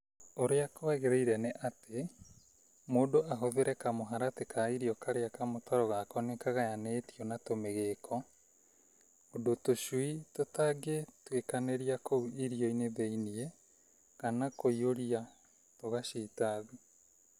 Urĩa kwagĩrĩire nĩ atĩ, mũndũ ahũthĩre kamũharatĩ ka irio karĩa kamũtaro gako nĩ kagayaganĩtio na tũmĩgĩko ũndũ tũcui tũtangĩtwĩkanĩria kũu irio-inĩ thĩinĩ kana kũihuria tũgacita thĩ.